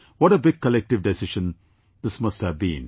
What a big collective decision this must have been